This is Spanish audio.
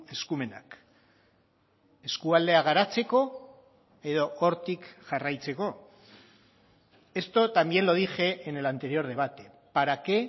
eskumenak eskualdea garatzeko edo hortik jarraitzeko esto también lo dije en el anterior debate para qué